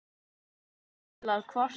Er ástæða til að kvarta?